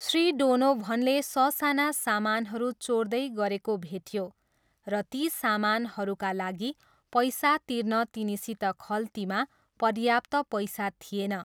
श्री डोनोभनले ससाना सामानहरू चोर्दै गरेको भेटियो र ती सामानहरूका लागि पैसा तिर्न तिनीसित खल्तीमा पर्याप्त पैसा थिएन।